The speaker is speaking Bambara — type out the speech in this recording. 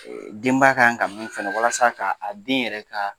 Denbaya kan ka min fɛnɛ walasa ka a den yɛrɛ ka